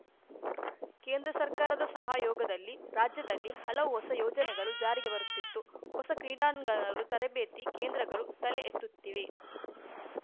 ಕೇಂದ್ರ ಸರ್ಕಾರದ ಸಹಯೋಗದಲ್ಲಿ ರಾಜ್ಯದಲ್ಲಿ ಹಲವು ಹೊಸ ಯೋಜನೆಗಳು ಜಾರಿಗೆ ಬರುತ್ತಿತ್ತು ಹೊಸ ಕ್ರೀಡಾಂಗಗಲು ತರಬೇತಿ ಕೇಂದ್ರಗಳು ತಲೆ ಎತ್ತುತ್ತಿವೆ